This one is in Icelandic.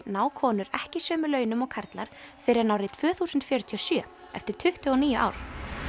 ná konur ekki sömu launum og karlar fyrr en árið tvö þúsund fjörutíu og sjö eftir tuttugu og níu ár